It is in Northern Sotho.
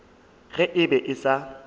ge e be e sa